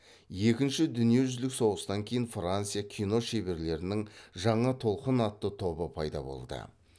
екінші дүниежүзілік соғыстан кейін франция кино шеберлерінің жаңа толқын атты тобы пайда болды